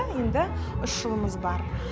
енді үш жылымыз бар